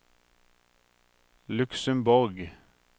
Luxemborg